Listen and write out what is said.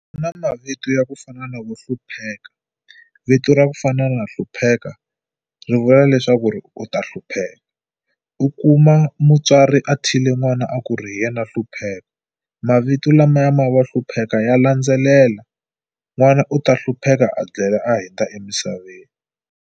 Ku na mavito ya ku fana na vo Hlupheka. Vito ra ku fana na Hlupheka ri vula leswaku ri u ta hlupheka. U kuma mutswari a thyile n'wana a ku ri hi yena Hlupheka mavito lamaya ma vo Hlupheka ya landzelela n'wana u ta hlupheka a a hundza emisaveni.